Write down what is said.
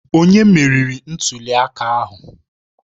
Onye meriri ntuli aka ahụ?